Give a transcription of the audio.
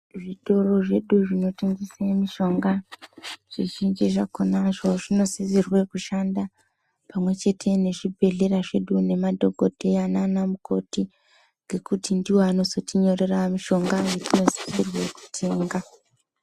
Zvitoro zvedu zvinotengesa mishonga, zvizhinji zvakonazvo zvinosisirwe kushanda pamwechete nezvibhedhlera zvedu nemadhokodheya nanamukoti ngekuti ndiwo anozotinyorera mushonga watinosisirwe kutenga.